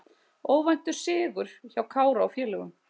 Óvæntur sigur hjá Kára og félögum